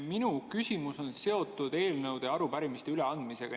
Minu küsimus on seotud eelnõude ja arupärimiste üleandmisega.